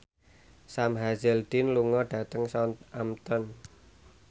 Sam Hazeldine lunga dhateng Southampton